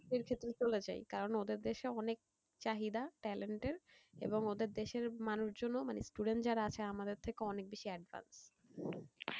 এর ক্ষেত্রে চলে যাই কারণ ওদের দেশে অনেক চাহিদা talent এর এবং ওদের দেশের মানুষজনও মানে student যারা আছে তার আমাদের থেকে অনেক বেশি advance,